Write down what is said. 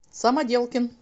самоделкин